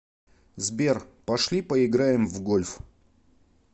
сбер пошли поиграем в гольф